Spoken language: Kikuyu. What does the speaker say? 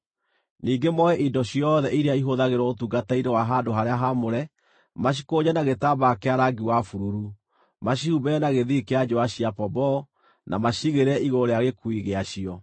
“Ningĩ moe indo ciothe iria ihũthagĩrwo ũtungata-inĩ wa handũ-harĩa-haamũre, macikũnje na gĩtambaya kĩa rangi wa bururu, macihumbĩre na gĩthii kĩa njũũa cia pomboo, na maciigĩrĩre igũrũ rĩa gĩkuui gĩacio.